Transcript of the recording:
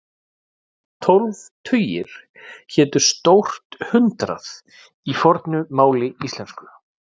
Tólf tugir hétu stórt hundrað í fornu máli íslensku.